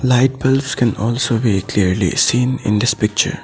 Light bulbs can also be clearly seen in this picture.